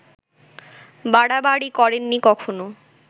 বাড়াবাড়ি করেননি কখন